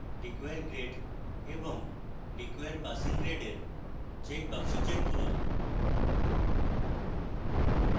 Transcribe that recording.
require grade এবং require passing grade এর checkboxes check করুন